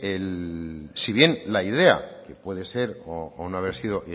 si bien la idea puede ser o no haber sido